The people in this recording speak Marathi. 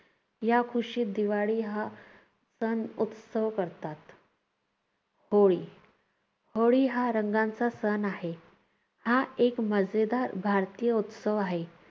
या खुशीत दिवाळी हा सण उत्सव करतात. होळी. होळी हा रंगांचा सण आहे. हा एक मजेदार भारतीय उत्सव आहे.